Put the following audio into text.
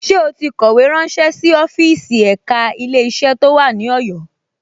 Ṣé ó ti kọ̀wé ránṣé sí ọ́fíìsì ẹ̀ka Ilé-iṣẹ́ tó wà ní Ọ̀yọ́